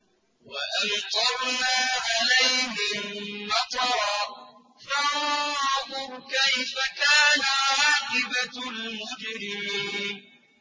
وَأَمْطَرْنَا عَلَيْهِم مَّطَرًا ۖ فَانظُرْ كَيْفَ كَانَ عَاقِبَةُ الْمُجْرِمِينَ